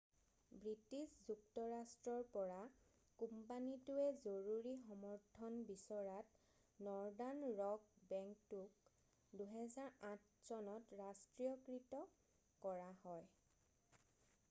British যুক্তৰাষ্ট্ৰৰ পৰা কোম্পানীটোৱে জৰুৰী সমৰ্থন বিচৰাত নৰ্দান ৰক বেংকটোক 2008 চনত ৰাষ্ট্ৰীয়কৃত কৰা হয়